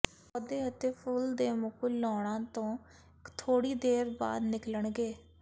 ਪੌਦੇ ਅਤੇ ਫੁੱਲ ਦੇ ਮੁਕੁਲ ਲਾਉਣਾ ਤੋਂ ਥੋੜ੍ਹੀ ਦੇਰ ਬਾਅਦ ਨਿਕਲਣਗੇ